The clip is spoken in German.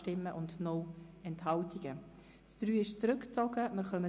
Die Planungserklärung 3 ist zurückgezogen worden.